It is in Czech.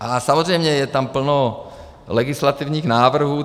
A samozřejmě je tam plno legislativních návrhů.